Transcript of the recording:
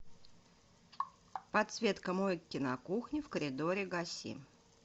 подсветка мойки на кухне в коридоре гаси